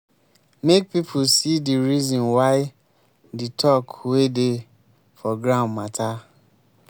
make pipo see di reason why the talk wey dey for ground matter